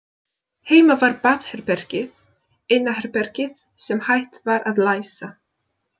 Heima var baðherbergið eina herbergið sem hægt var að læsa.